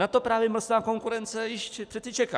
Na to právě mlsná konkurence již přece čeká.